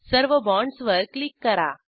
सर्व बाँडसवर क्लिक करा